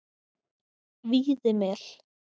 Víðimel